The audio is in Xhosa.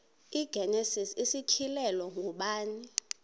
igenesis isityhilelo ngubani